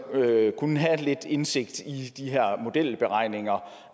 kunne have lidt indsigt i de her modelberegninger